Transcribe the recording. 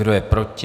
Kdo je proti?